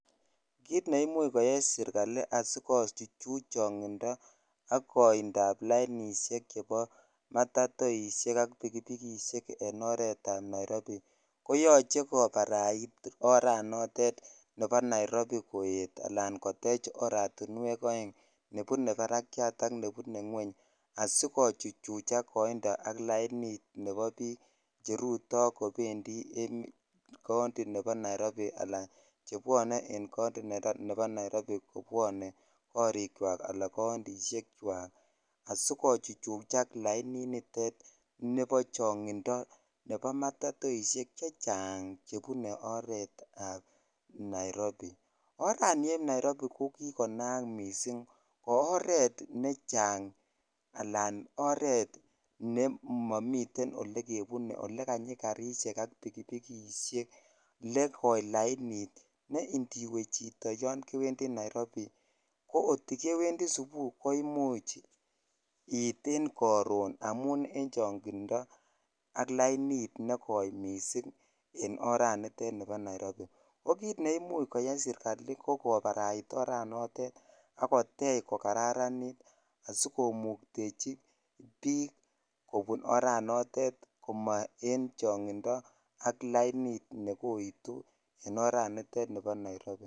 Kiit neimuch koyai serikali asikochuchuch chongindo ak koindab lainishek chebo matatoishek ak pikipikishek en oretab Nairobi koyoche kobarait oranotet nebo Nairobi koet anan kotech oratinwek oeng nebune barakiat ak nebune ngweny asikochuchuchak koindo ak lainit chebo biik cheruto kobendi county nebo Nairobi alan chebwone en county nebo Nairobi kobwone korikwak anan countishekwak asikochuchuchak laininitet nebo chongindo nebo matatoishek chechang chebune oreetab Nairobi, orani eb nairobi ko kikonaak mising, oreet nechang alaan oreet olemomiten olekebune olekanyi karishek ak pikipikishek lee koii lainit ne indiwe yoon kewendi Nairobi ko kotikewendi subui ko imuch iit en koron amun en chong'indo ak lainit nekoi mising en oranitet nibo Nairobi oo kiit neimuch koyai serikali ko kobarait oranotet ak kotech ko kararnit asikomuktechi biik kobun oranotet komo en chong'indo ak lainit nekoitu en oranitet nibo nairobi.